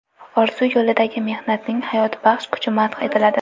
orzu yo‘lidagi mehnatning hayotbaxsh kuchi madh etiladi.